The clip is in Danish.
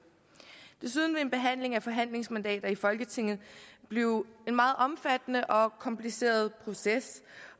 desuden vil en behandling af forhandlingsmandater i folketinget blive en meget omfattende og kompliceret proces